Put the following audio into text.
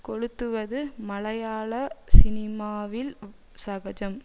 கொளுத்துவது மலையாள சினிமாவில் சகஜம்